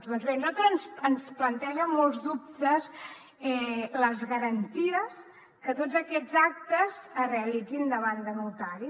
doncs bé a nosaltres ens plantegen molts dubtes les garanties que tots aquests actes es realitzin davant de notari